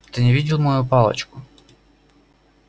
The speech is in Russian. ты не видел мою палочку